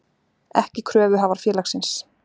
ekki kröfuhafar félagsins.